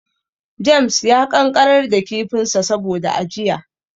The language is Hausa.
James ya ƙanƙarar da kifinsa saboda ajiya.